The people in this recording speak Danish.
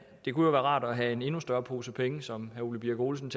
det kunne jo være rart at have en endnu større pose penge som herre ole birk olesen